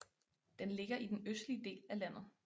Den ligger i den østlige del af landet